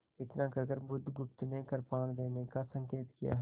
इतना कहकर बुधगुप्त ने कृपाण देने का संकेत किया